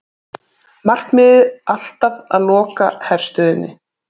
Markmiðið alltaf að loka herstöðinni